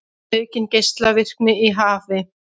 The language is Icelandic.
Aukin geislavirkni í hafi